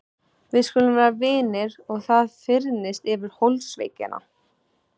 Við skulum vera vinir og það fyrnist yfir holdsveikina.